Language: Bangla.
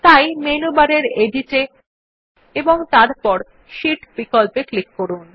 তাই মেনু বারের এডিট এ এবং তারপর শীট বিকল্পে ক্লিক করুন